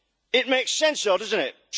It makes sense though doesn't it?